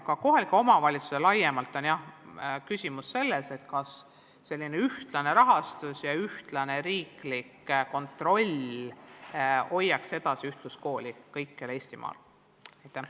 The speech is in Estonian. Aga kohaliku omavalitsuse küsimus laiemalt on selles, kas ühtlane rahastus ja ühtlane riiklik kontroll aitaksid ühtluskooli kõikjal Eestimaal alal hoida.